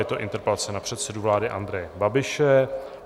Je to interpelace na předsedu vlády Andreje Babiše.